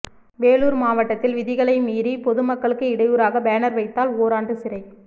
வேலூர் மாவட்டத்தில் விதிகளை மீறி பொதுமக்களுக்கு இடையூறாக பேனர் வைத்தால் ஓராண்டு சிறை